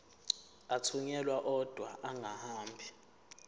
athunyelwa odwa angahambi